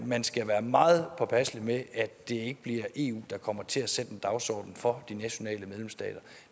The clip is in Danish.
man skal være meget påpasselig med at det ikke bliver eu der kommer til at sætte dagsordenen for de nationale medlemsstater